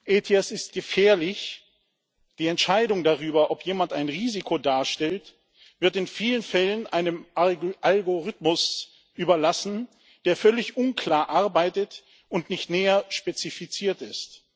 ETIAS ist gefährlich Die Entscheidung darüber, ob jemand ein Risiko darstellt, wird in vielen Fällen einem Algorithmus überlassen, der völlig unklar arbeitet und nicht näher spezifiziert ist.